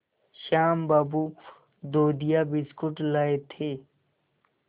श्याम बाबू दूधिया बिस्कुट लाए थे